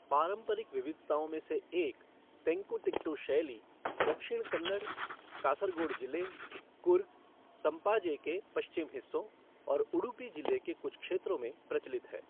पारंपरिक विविधताओं में से एक, तेंकुतिट्टु शैली, दक्षिण कन्नड़, कासरगोड जिले, कुर्ग संपाजे के पश्चिमी हिस्सों और उडुपी जिले के कुछ क्षेत्रों में प्रचलित है।